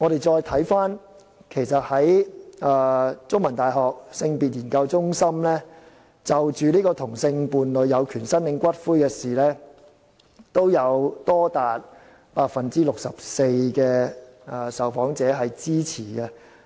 再者，香港中文大學性別研究中心曾就同性伴侶有權申領骨灰這議題進行調查，結果也有多達 64% 的受訪者支持。